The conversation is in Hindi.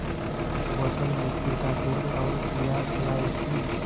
एक बोतल मिट्टी का तेल और दियासलाई की